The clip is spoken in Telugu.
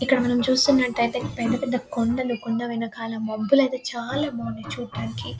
ఇక్కడ మనం చూస్తున్నట్టయితే పెద్ద పెద్ద కొండలు కొండ వెనకాల మబ్బులైతే చాలా బావున్నాయి చూడడానికి.